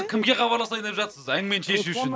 кімге хабарласайын деп жатсыз әңгімені шешу үшін